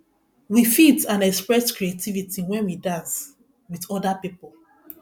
we fit and express creativity when we dance with oda pipo